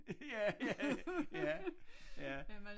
Ja ja ja ja